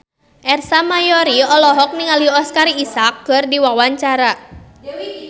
Ersa Mayori olohok ningali Oscar Isaac keur diwawancara